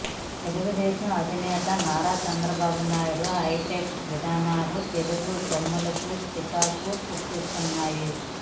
తెలుగుదేశం అధినేత నారా చంద్రబాబు నాయుడు హైటెక్ విధానాలు తెలుగు తమ్ములకు చికాకు పుట్టిస్తున్నాయి